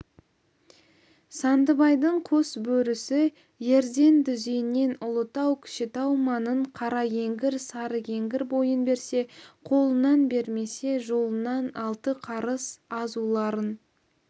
сандыбайдың қос бөрісі ерден дүзенінен ұлытау кішітау маңын қаракеңгір сарыкеңгір бойын берсе қолынан бермесе жолынан алты қарыс азуларын